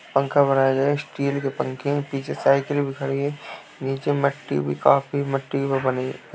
पंखा बनाया गया है। स्टील के पंखें है। पीछे साइकिल भी खड़ी है। नीचे मट्टी भी काफी मट्टी पे बनी --